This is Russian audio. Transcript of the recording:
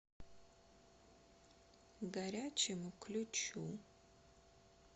горячему ключу